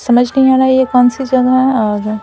समझ नहीं आ रहा ये कौन सी जगह है और--